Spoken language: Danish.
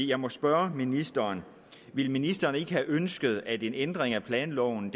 jeg må spørge ministeren ville ministeren ikke have ønsket at en ændring af planloven